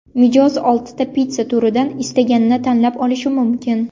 Mijoz oltita pitssa turidan istaganini tanlab olishi mumkin.